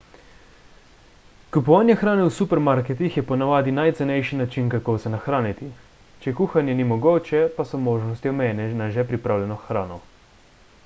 kupovanje hrane v supermarketih je ponavadi najcenejši način kako se nahraniti če kuhanje ni mogoče pa so možnosti omejene na že pripravljeno hrano